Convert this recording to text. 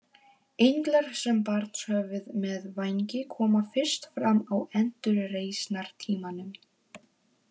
Englar sem barnshöfuð með vængi koma fyrst fram á endurreisnartímanum.